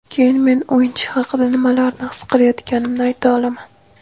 keyin men o‘yinchi haqida nimalarni his qilayotganimni ayta olaman.